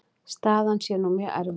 Staðan sé nú mjög erfið.